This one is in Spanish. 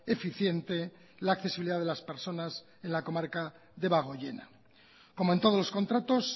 eficiente la accesibilidad de las personas en la comarca debagoiena como en todos los contratos